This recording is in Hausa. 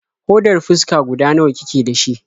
Hodar fuska guda nawa kike da shi?